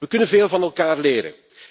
We kunnen veel van elkaar leren.